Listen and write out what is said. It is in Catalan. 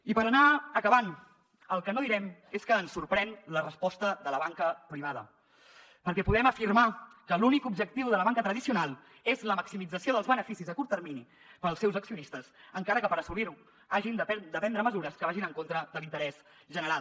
i per anar acabant el que no direm és que ens sorprèn la resposta de la banca privada perquè podem afirmar que l’únic objectiu de la banca tradicional és la maximització dels beneficis a curt termini per als seus accionistes encara que per assolirho hagin de prendre mesures que vagin en contra de l’interès general